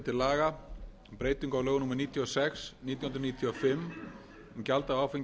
sex nítján hundruð níutíu og fimm um gjald af áfengi